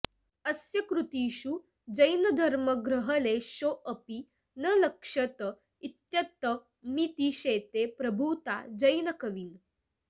अस्य कृतिषु जैनधर्माग्रहलेशोऽपि न लक्ष्यत इत्ययमतिशेते प्रभूता जैनकवीन्